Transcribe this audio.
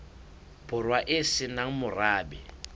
borwa e se nang morabe